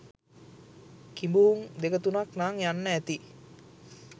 කිඹුහුං දෙක තුනක් නං යන්න ඇති.